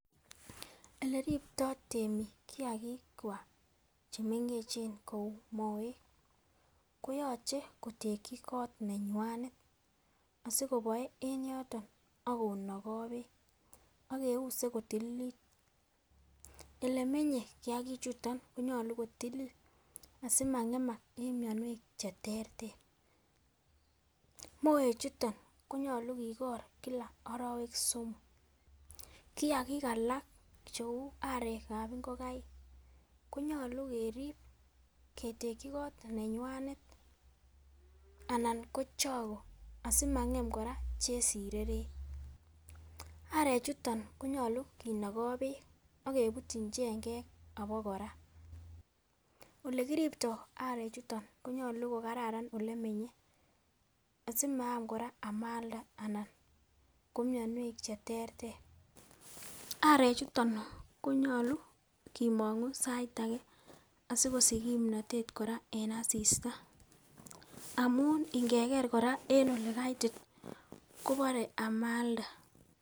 Ole ribto temik kiagik kwak chemengechen kou moek koyoche ketekyik kot neywanet asikoboe en yoton akonoko beek ak keuse kotililit. olemenye kiyagik chuton koyolu kotililit simangemak en mionwek cheterter. Moek chuton konyolu kigor kila orowek somok. kiyagik alak cheu arekab ingokaik konyolu kerib keteki kot nenywanet anan ko choko asimangem koraa chesireret, arek chuton konyolu kinogo beek ak kebutyin chengek obokora. ole kirubtoo arek chuton konyolu ko kararan olemenye asimaam koraa emalda anan ko mionwek cheterter. arek chuton konyolu kimongu sait age asikosich kipnotet koraa en asista amun ikeker koraa en ole kaiti kobore amalda.